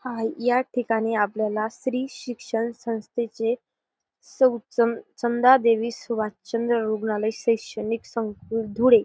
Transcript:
हाय या ठिकाणी आपल्याला स्त्री शिक्षण संस्थेचे सौ सम समदा देवी सुभाष चंद्र रुग्णालय शैक्षणिक संस्था धुळे --